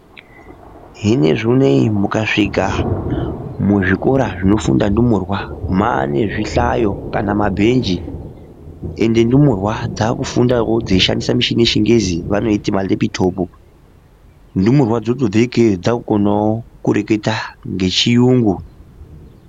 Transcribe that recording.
Hino zvonei mukasvika muzvikora zvinofunda ndumurwa, maane zvihlayo kana mabhenji ende ndumurwa dzakufundawo dzeishandisa machini yechingezi vanoiti malepitopu. Ndumurwa dzotobva kona ikeyo dzakukona kureketawo nhechiyungu.